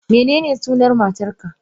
Menene sunan matarka?